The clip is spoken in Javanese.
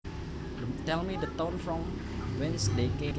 Tell me the town from whence they came